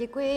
Děkuji.